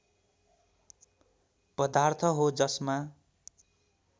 पदार्थ हो जसमा